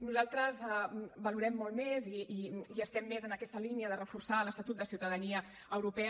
nosaltres valorem molt més i estem més en aquesta línia reforçar l’estatut de ciutadania europea